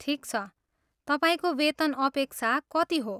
ठिक छ, तपाईँको वेतन अपेक्षा कति हो?